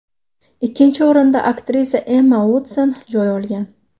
Ikkinchi o‘rindan aktrisa Emma Uotson joy olgan.